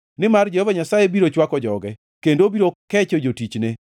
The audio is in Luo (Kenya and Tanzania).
Nimar Jehova Nyasaye biro chwako joge, kendo obiro kecho jotichne.